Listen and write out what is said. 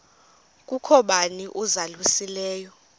kukho bani uzalusileyo